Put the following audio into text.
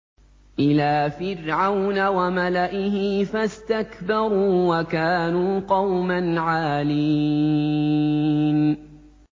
إِلَىٰ فِرْعَوْنَ وَمَلَئِهِ فَاسْتَكْبَرُوا وَكَانُوا قَوْمًا عَالِينَ